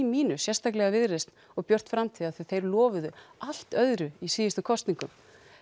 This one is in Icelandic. mínus sérstaklega Viðreisn og Björt framtíð því þeir lofuðu allt öðru í síðustu kosningum